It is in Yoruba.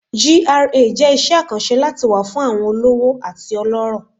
GRA jẹ iṣẹ akanṣe lati wa fun awọn ọlọrọ ati ọlọrọ